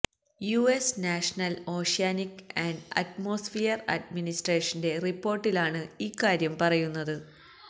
US national oceanic and atmosphere അഡ്മിനിസ്ട്രേഷന്റെ റിപ്പോർട്ടിലാണ് ഇക്കാര്യം പറയുന്നത്